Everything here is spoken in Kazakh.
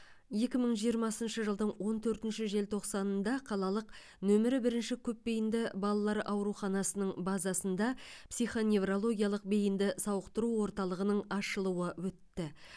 екі мың жиырмасыншы жылдың он төртінші желтоқсанында қалалық нөмірі бірінші көпбейінді балалар ауруханасының базасында психоневрологиялық бейінді сауықтыру орталығының ашылуы өтті